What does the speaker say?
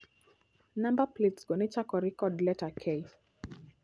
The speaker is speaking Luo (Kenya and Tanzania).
Namba plets go nechakore kod leta K